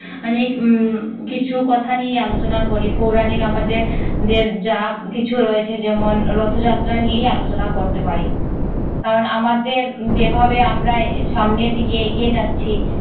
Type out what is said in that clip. মানে উম কিছু কথা নিয়ে আলোচনা করি পৌরাণিক আমাদের দের যা কিছু রয়েছে যেমন রথযাত্রা নিয়েই আলোচনা করতে পারি কারণ আমাদের যেভাবে আমরা সামনের দিকে এগিয়ে যাচ্ছি